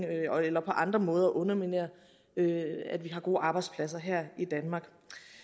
eller på andre måder underminerer at vi har gode arbejdspladser her i danmark